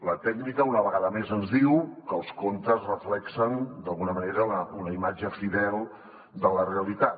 la tècnica una vegada més ens diu que els comptes reflecteixen d’alguna manera la imatge fidel de la realitat